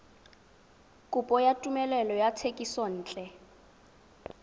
kopo ya tumelelo ya thekisontle